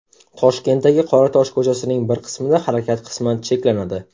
Toshkentdagi Qoratosh ko‘chasining bir qismida harakat qisman cheklanadi.